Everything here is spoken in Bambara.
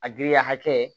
A giriya hakɛ